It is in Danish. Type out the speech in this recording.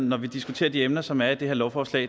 når vi diskuterer de emner som er i det her lovforslag